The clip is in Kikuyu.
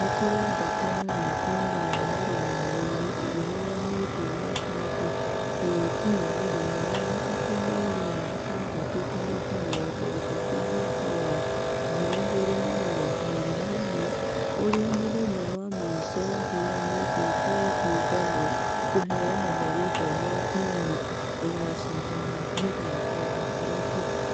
Nĩkũrendekana rĩtwa rĩa mũrũgamĩrĩri rĩheanwo na caf gũgĩkinya mũthenya wa gatatũ mweri wa gatandatũ tarĩki mĩrongo ĩtatũ mwaka wa 2021 . ũrĩa nĩ mũthenya wamũisho ũhĩanĩtwo kũrĩ kĩũngano kũheana marĩtwa ma timũ iria ĩgashidana mĩthako ya irabu.